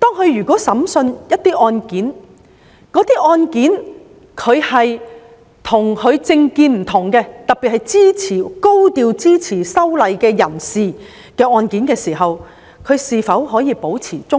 審理一些涉及跟他們的政見不同，特別是高調支持修例的人士的案件時，是否可以保持中立？